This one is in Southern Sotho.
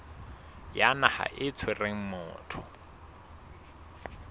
ya naha e tshwereng motho